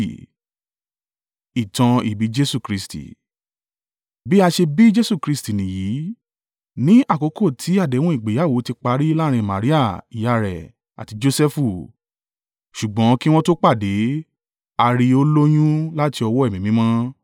Bí a ṣe bí Jesu Kristi nìyí, ní àkókò ti àdéhùn ìgbéyàwó ti parí láàrín Maria ìyá rẹ̀ àti Josẹfu, ṣùgbọ́n kí wọn tó pàdé, a rí i ó lóyún láti ọwọ́ Ẹ̀mí Mímọ́.